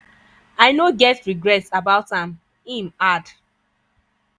i no get regrets about am" im add.